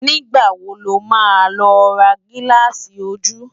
Nigbá wó ló má lò rá gilási ójú?